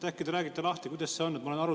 Äkki te räägite lahti, kuidas sellega on?